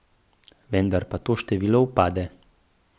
Vendar pa to število upade.